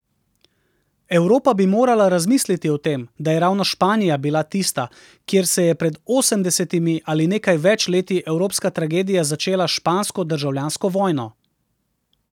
Evropa bi morala razmisliti o tem, da je ravno Španija bila tista, kjer se je pred osemdesetimi ali nekaj več leti evropska tragedija začela s špansko državljansko vojno.